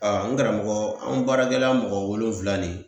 Ɔɔ n karamɔgɔ an baarakɛla mɔgɔ wolonwula nin